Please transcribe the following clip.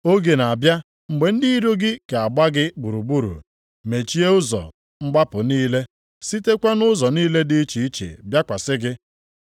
Oge na-abịa mgbe ndị iro gị ga-agba gị gburugburu, mechie ụzọ mgbapụ niile, sitekwa nʼụzọ niile dị iche iche bịakwasị gị.